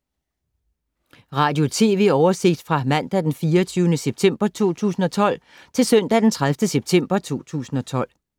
Radio/TV oversigt fra mandag d. 24. september 2012 til søndag d. 30. september 2012